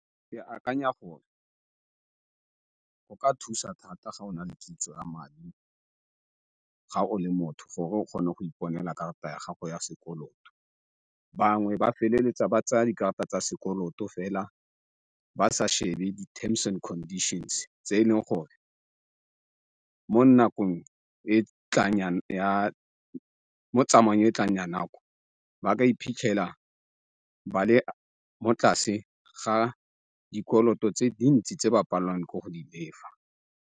Ke akanya gore go ka thusa thata ga o na kitso ya madi ga o le motho gore o kgone go iponela karata ya gago ya sekoloto. Bangwe ba feleletsa ba tsaya dikarata tsa sekoloto fela ba sa shebe di-terms and conditions tse e leng gore mo nakong mo tsamayong e e tlang ya nako ba ka iphitlhela ba le mo tlase ga dikoloto tse dintsi tse ba palelwanh ke go di lefa.